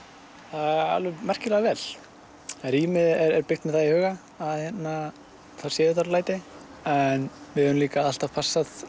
alveg merkilega vel rýmið er byggt með það í huga að það séu þar læti við höfum líka alltaf passað